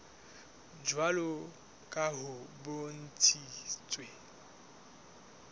jwalo ka ha ho bontshitswe